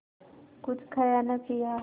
कुछ खाया न पिया